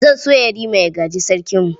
Zan so Yarima ya gaji Sarkinmu.